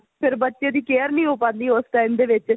ਫ਼ਿਰ ਬੱਚੇ ਦੀ care ਨਹੀ ਹੋ ਪਾਦੀ ਉਸ time ਦੇ ਵਿੱਚ